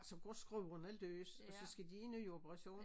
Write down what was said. Så går skruerne løs og så skal de i en ny operation